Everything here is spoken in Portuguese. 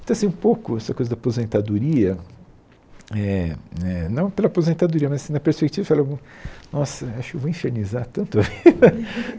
Então, assim, um pouco dessa coisa da aposentadoria, eh eh não pela aposentadoria, mas na perspectiva falei... Nossa, acho que eu vou infernizar tanto.